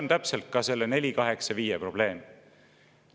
Ja täpselt see on 485 OE probleem.